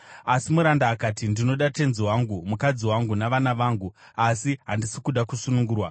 “Asi muranda akati, ‘Ndinoda tenzi wangu, mukadzi wangu navana vangu asi handisi kuda kusunungurwa,’